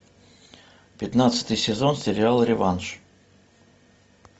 пятнадцатый сезон сериала реванш